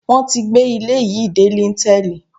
Wọ́n tí gbé ilé yìí dé líńtẹ́ẹ̀lì